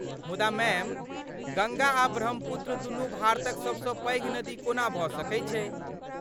मुदा मैम, गङ्गा आ ब्रह्मपुत्र दुनू भारतक सबसँ पैघ नदी कोना भऽ सकै छै?